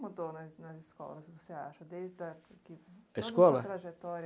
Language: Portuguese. o que mudou na nas escolas, você acha desda o que. Da escola? Não na trajetória,